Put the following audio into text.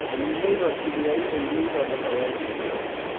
Kũnyihia igoti ria indo iria ithondekaga indo ingĩ